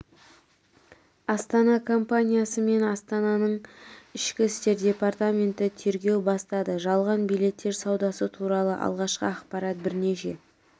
астана компаниясы мен астананың ішкі істер департаменті тергеу бастады жалған билеттер саудасы туралы алғашқы ақпарат бірнеше